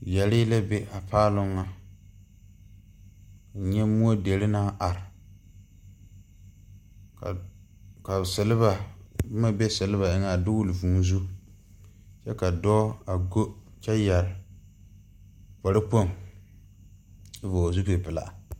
Yɛree la be a paaloŋ ŋa nyɛ moɔ deri naŋ are ka ka silba boma be silba eŋɛ a dogle vuu zu kyɛ ka dɔɔ a go kyɛ yɛre kparekpoŋ a vɔgle zupil pelaa.